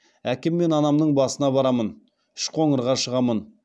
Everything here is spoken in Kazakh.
әкем мен анамның басына барамын үшқоңырға шығамын